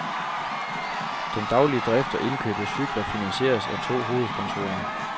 Den daglige drift og indkøb af cykler finansieres af to hovedsponsorer.